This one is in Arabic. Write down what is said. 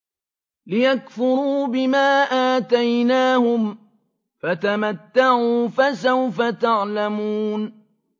لِيَكْفُرُوا بِمَا آتَيْنَاهُمْ ۚ فَتَمَتَّعُوا ۖ فَسَوْفَ تَعْلَمُونَ